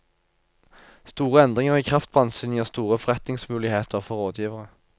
Store endringer i kraftbransjen gir store forretningsmuligheter for rådgivere.